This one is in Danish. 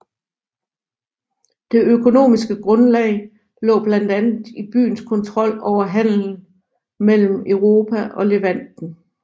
Det økonomiske grundlag lå blandt andet i byens kontrol over handelen mellem Europa og Levanten